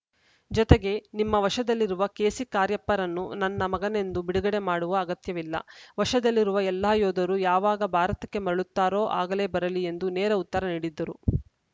ಜೊತೆಗೆ ನಿಮ್ಮ ವಶದಲ್ಲಿರುವ ಕೆಸಿ ಕಾರ್ಯಪ್ಪರನ್ನು ನನ್ನ ಮಗನೆಂದು ಬಿಡುಗಡೆ ಮಾಡುವ ಅಗತ್ಯವಿಲ್ಲ ವಶದಲ್ಲಿರುವ ಎಲ್ಲಾ ಯೋಧರು ಯಾವಾಗ ಭಾರತಕ್ಕೆ ಮರಳುತ್ತಾರೋ ಆಗಲೇ ಬರಲಿ ಎಂದು ನೇರ ಉತ್ತರ ನೀಡಿದ್ದರು